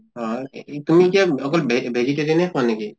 হয় এ এ তুমি কিয় অকল ভে vegetarian য়ে খোৱা নেকি?